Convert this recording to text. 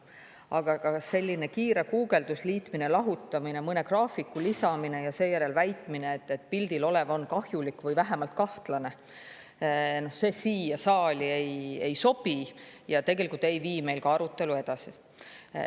Aga selline kiire guugeldus, liitmine, lahutamine, mõne graafiku lisamine ja seejärel väitmine, et pildil olev on kahjulik või vähemalt kahtlane – see siia saali ei sobi ja tegelikult ei vii meil arutelu edasi.